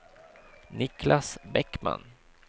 Niclas Bäckman